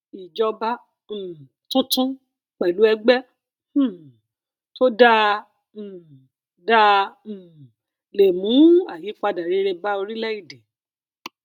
ìjọba um tuntun pẹlú ẹgbẹ um tó dáa um dáa um le mú ayipada rere bá orílẹèdè